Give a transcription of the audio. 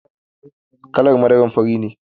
Kalar madara fari ne.